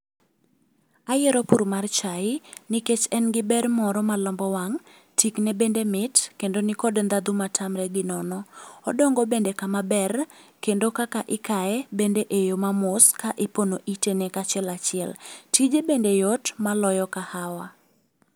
Ayiero pur mar chae, nikech en giber moro malombo wang', tikne bende mit kendo nikod ndhadhu ma tamre gi nono. Odongo bende kama ber kendo kaka ikaye, bende eyo mamos ka ipono itene kachiel achiel. Tije bende yot maloyo kahawa.